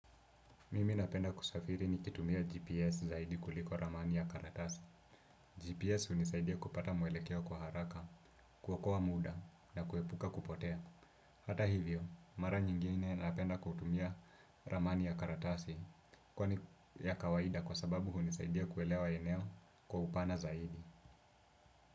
Mimi napenda kusafiri nikitumia GPS zaidi kuliko ramani ya karatasi GPS unisaidia kupata mwelekeo kwa haraka, kuokoa muda na kuepuka kupotea. Hata hivyo, mara nyingine napenda kutumia ramani ya karatasi. Kwani ya kawaida kwa sababu hunisaidia kuelewa eneo kwa upana zaidi.